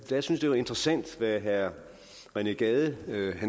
synes jeg det var interessant hvad herre rené gade